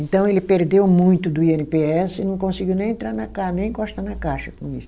Então ele perdeu muito do i ene pê esse e não conseguiu nem entrar na ca, nem encostar na caixa com isso.